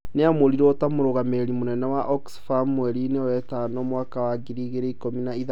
Nĩamũrirwo ta mũrũgamĩrĩri mũnene wa OXfam mweri-inĩ wetano mwaka wa ngiri igĩrĩ na ikũmi na ithatũ.